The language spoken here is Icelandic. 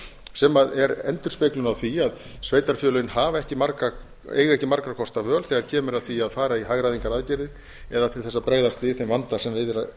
sem er endurspeglun á því að sveitarfélögin eiga ekki margra kosta völ þegar kemur að því að fara í hagræðingaraðgerðir eða til þess að bregðast við þeim vanda sem við er að